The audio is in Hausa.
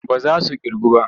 Ba za su ƙirgu ba.